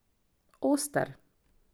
Oster.